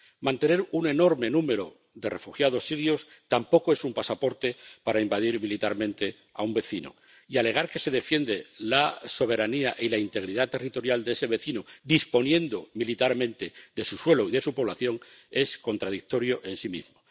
Mantener un enorme número de refugiados sirios tampoco es un pasaporte para invadir militarmente a un vecino, y alegar que se defiende la soberanía y la integridad territorial de ese vecino, disponiendo militarmente de su suelo y de su población, es contradictorio en sí mismo.